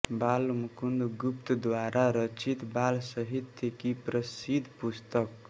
बालमुकुंद गुप्त द्वारा रचित बाल साहित्य की प्रसिद्ध पुस्तक